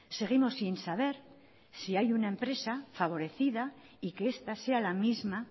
seguimos sin saber si hay una empresa favorecida y que esta sea la misma